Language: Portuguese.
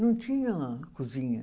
Não tinha cozinha.